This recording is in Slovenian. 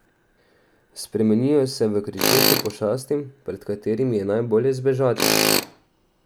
Spremenijo se v kričeče pošasti, pred katerimi je najbolje zbežati.